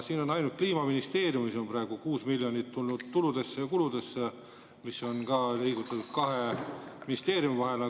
Siin on praegu ainult, et Kliimaministeeriumis on 6 miljonit tulnud tuludesse ja kuludesse, mida on liigutatud kahe ministeeriumi vahel.